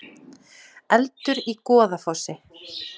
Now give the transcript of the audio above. Eldur í Goðafossi